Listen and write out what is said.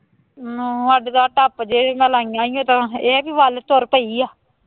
ਨਾ ਸਾਡੇ ਤਾਂ ਟੱਬ ਜਿਹੇ ਨਾਲ ਲਾਈਆਂ ਸੀ ਤਾਂ ਇਹ ਹੈ ਕਿ ਵੱਲ ਤੁਰ ਪਈ ਹੈ